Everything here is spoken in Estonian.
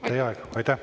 Aitäh!